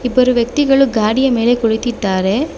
ಇಬ್ಬರು ವ್ಯಕ್ತಿಗಳು ಗಾಡಿಯ ಮೇಲೆ ಕುಳಿತಿದ್ದಾರೆ.